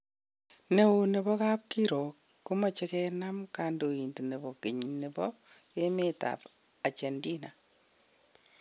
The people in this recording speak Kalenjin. Neo nebo kabkirog kumoche genam kondoindet nebo geny nebo emet ab Argentina.